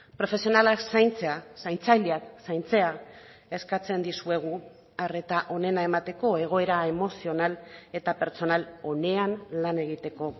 profesionalak zaintzea zaintzaileak zaintzea eskatzen dizuegu arreta onena emateko egoera emozional eta pertsonal onean lan egiteko